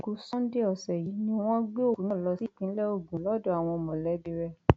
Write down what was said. ọjọ àìkú sanńdé ọsẹ yìí ni wọn gbé òkú náà lọ sí ìpínlẹ ogun lọdọ àwọn mọlẹbí rẹ